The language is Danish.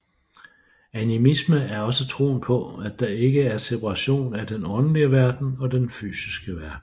Animisme er også troen på at der ikke er separation af den åndelige verden og fysiske verden